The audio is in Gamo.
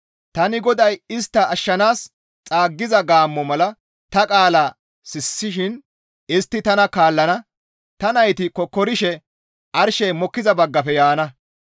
«Tani GODAY istta ashshanaas xaaggiza gaammo mala tani ta qaala sissishin istti tana kaallana; ta nayti kokkorishe arshey mokkiza baggafe yaana.